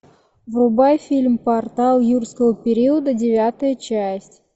врубай фильм портал юрского периода девятая часть